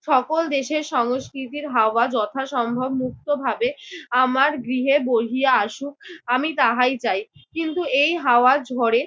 সকল দেশের সংস্কৃতির হাওয়া যথাসম্ভব মুক্তভাবে আমার গৃহে বহিয়া আসুক আমি তাহাই চাই। কিন্তু এই হাওয়ার ঝড়ে